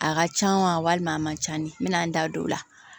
A ka can walima a man ca ni n bɛn'an da don o la